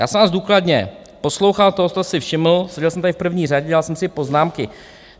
Já jsem vás důkladně poslouchal, toho jste si všiml, seděl jsem tady v první řadě, dělal jsem si poznámky.